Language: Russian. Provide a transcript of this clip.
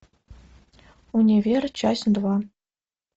универ часть два